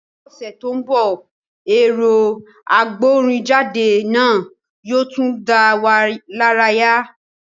Ní ọ̀sẹ̀ tó ń bọ̀, ẹ̀rọ agbórinjáde náà yóò tún dá wa lára yá